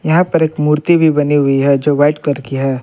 यहां पर एक मूर्ति भी बनी हुई है जो व्हाइट कलर की है।